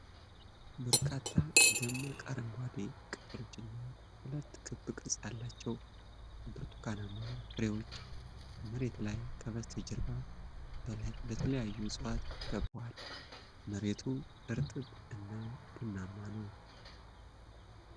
በርካታ ደማቅ አረንጓዴ ቅጠሎችና ሁለት ክብ ቅርጽ ያላቸው ብርቱካናማ ፍሬዎች መሬት ላይ ከበስተጀርባ በተለያዩ ዕፅዋት ተከብበዋል። መሬቱ እርጥብ እና ቡናማ ነው።